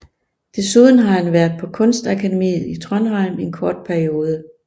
Desuden har han været på Kunstakademiet i Trondheim en kort periode